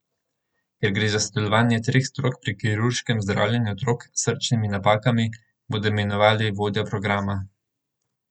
Ker gre za sodelovanje treh strok pri kirurškem zdravljenju otrok s srčnimi napakami, bodo imenovali vodjo programa.